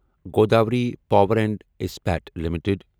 Godavari power and Ispat limited